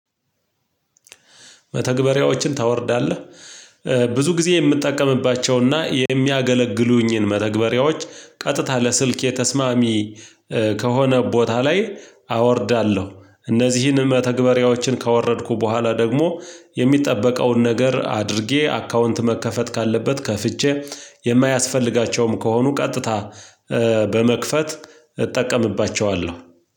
መተግበሪያዎችን ታወርዳለህ ብዙ ጊዜ የምጠቀምባቸው እና የሚያገለግሉኝን መተግበሪያዎች ቀጥታ ለስልኬ ተስማሚ ከሆነ ቦታ ላይ አወርዳለሁ እነዚህን መተግበሪያዎችን ካወረድኩ በኋላ ደግሞ የሚጠበቀውን ነገር አድርጌ አካውንት መከፈት ካለበት ከፍቼ የማያስፈልጋቸውም ከሆኑ ቀጥታ በመክፈት እጠቀምባቸዋለሁ